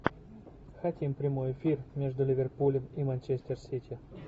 хотим прямой эфир между ливерпулем и манчестер сити